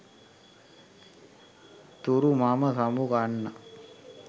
තුරු මම සමුගන්නම්